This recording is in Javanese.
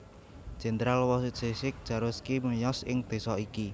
Jèndral Wojciech Jaruzelski miyos ing désa iki